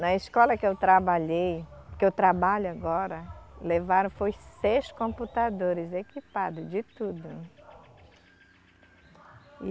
Na escola que eu trabalhei, que eu trabalho agora, levaram, foi seis computadores equipados, de tudo.